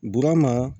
Burama